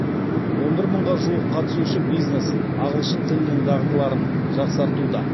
он бір мыңға жуық қатысушы бизнес ағылшын тілінің дағдыларын жақсартуда